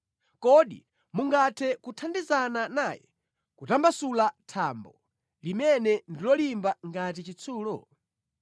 kodi mungathe kuthandizana naye kutambasula thambo limene ndi lolimba ngati chitsulo?